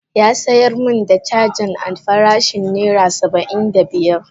Ya sayar min da cagan a farashin naira Saba'in da biyar.